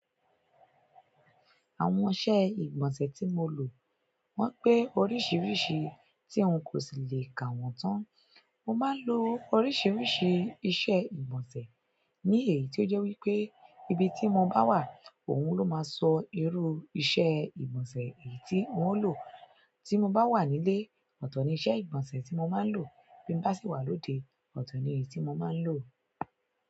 Àwọn iṣẹ́ ìgbọ̀nsẹ̀ tí mo lò wọ́n pé oríṣiríṣi tí ń kò sí le kà wọ́n tán. Mo máa ń lo oríṣiríṣi iṣẹ́ ìgbọ̀nsẹ̀ ní èyí ti ó jẹ́ wípé ibi tí mo bá wà òun ló máa sọ irú iṣẹ́ ìgbọ̀nsẹ̀ èyí tí ń ó lò. Tí mo bá wà nílé, ọ̀tọ̀ ni iṣẹ́ ìgbọ̀nsẹ̀ tí mo máa ń lò. Bín bá sì wà lóde, mọ̀ti ni èyí tí mo máa ń lò.